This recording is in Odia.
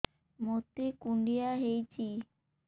ମୋତେ କୁଣ୍ଡିଆ ହେଇଚି